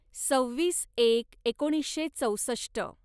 सव्वीस एक एकोणीसशे चौसष्ट